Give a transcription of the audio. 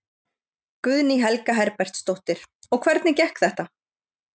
Guðný Helga Herbertsdóttir: Og hvernig gekk þetta?